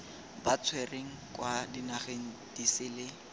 ba tshwerweng kwa dinageng disele